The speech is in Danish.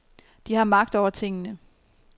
De har magt over tingene.